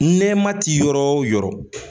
Nɛma ti yɔrɔ o yɔrɔ